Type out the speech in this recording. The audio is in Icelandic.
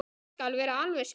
Ég skal vera alveg skýr.